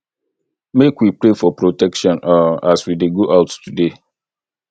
make we pray for protection um as we dey go out today